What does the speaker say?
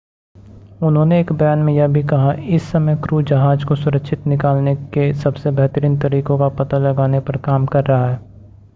उन्होंने एक बयान में यह भी कहा इस समय क्रू जहाज़ को सुरक्षित निकालने के सबसे बेहतरीन तरीकों का पता लगाने पर काम कर रहा है